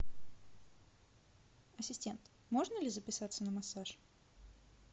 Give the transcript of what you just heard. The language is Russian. ассистент можно ли записаться на массаж